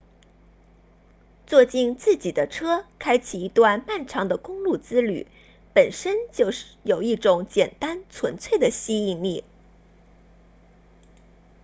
坐进自己的车开启一段漫长的公路之旅本身就有一种简单纯粹的吸引力